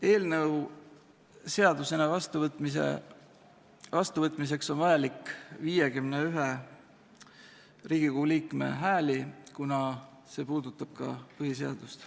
Eelnõu seadusena vastuvõtmiseks on vaja 51 Riigikogu liikme häält, kuna see seadus puudutab ka põhiseadust.